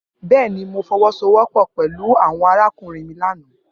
Bẹẹni, Mo fọwọsowọpọ pẹlu awọn arakunrin mi lana.